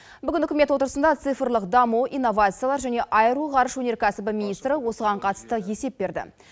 бүгін үкімет отырысында цифрлық даму инновациялар және аэроғарыш өнеркәсібі министрі осыған қатысты есеп берді